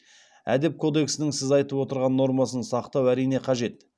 әдеп кодексінің сіз айтып отырған нормасын сақтау әрине қажет